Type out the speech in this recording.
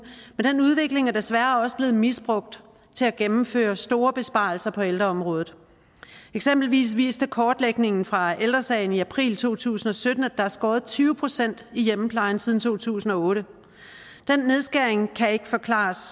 men den udvikling er desværre også blevet misbrugt til at gennemføre store besparelser på ældreområdet eksempelvis viste kortlægningen fra ældre sagen i april to tusind og sytten at der er skåret tyve procent i hjemmeplejen siden to tusind og otte den nedskæring kan ikke forklares